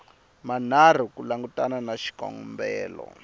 manharhu ku langutana na xikombelo